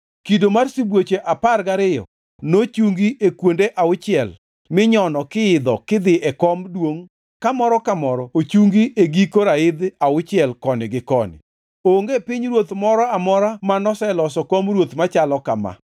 Kido mar sibuoche apar gariyo nochungi e kuonde auchiel minyono kiidho kidhi e kom duongʼ ka moro ka moro ochungi e giko raidh auchiel koni gi koni. Onge pinyruoth moro amora manoseloso kom ruoth machalo kama.